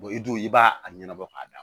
i dun i b'a a ɲɛnabɔ ka da